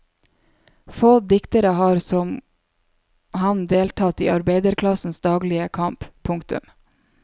Få diktere har som han deltatt i arbeiderklassens daglige kamp. punktum